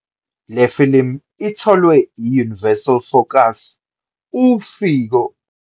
Le filimu itholwe yi- Universal Focus, uphiko olukhethekile lwama- Universal Films ukuze lusatshalaliswe emhlabeni wonke ngaphandle kwe- Afrika.